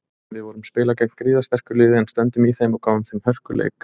Við vorum spila gegn gríðarsterku liði en stöndum í þeim og gáfum þeim hörkuleik.